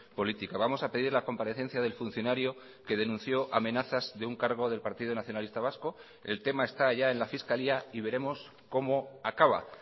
política vamos a pedir la comparecencia del funcionario que denunció amenazas de un cargo del partido nacionalista vasco el tema está ya en la fiscalía y veremos cómo acaba